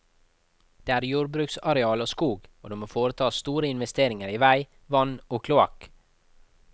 Det er jordbruksareal og skog, og det må foretas store investeringer i vei, vann og kloakk.